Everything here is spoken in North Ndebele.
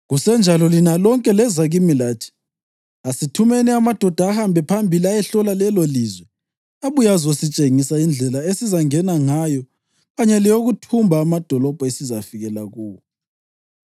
Kusenjalo lina lonke leza kimi lathi, ‘Asithumeni amadoda ahambe phambili ayehlola lelolizwe abuye azositshengisa indlela esizangena ngayo kanye leyokuthumba amadolobho esizafikela kuwo.’